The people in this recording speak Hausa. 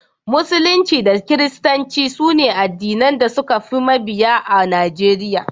Musulunci da Kiristanci su ne addinan da suka fi mabiya a Najeriya.